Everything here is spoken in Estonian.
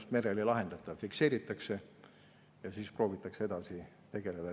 Seda merel ei lahendata, see fikseeritakse ja proovitakse edasi tegutseda.